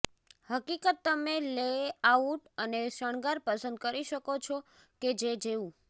હકીકત તમે લેઆઉટ અને શણગાર પસંદ કરી શકો છો કે જે જેવું